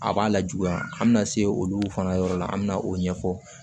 A b'a lajuguya an bɛna se olu fana yɔrɔ la an bɛ na o ɲɛfɔ